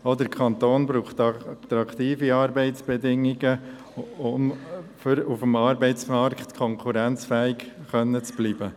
Auch der Kanton braucht attraktive Arbeitsbedingungen, um auf dem Arbeitsmarkt konkurrenzfähig zu bleiben.